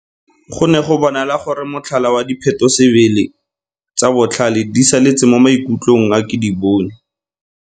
Go ne go bonala gore motlhala wa diphetho-sebele tsa Botlhale di saletse mo maikutlông a Kedibone.